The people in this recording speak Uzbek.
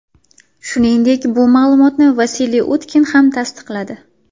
Shuningdek, bu ma’lumotni Vasiliy Utkin ham tasdiqladi .